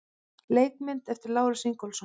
Leikmynd eftir Lárus Ingólfsson.